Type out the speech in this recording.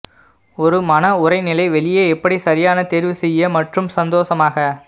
ஒரு மன உறைநிலை வெளியே எப்படி சரியான தேர்வு செய்ய மற்றும் சந்தோஷமாக